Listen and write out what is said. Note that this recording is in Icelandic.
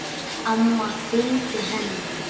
Amma fylgdi henni.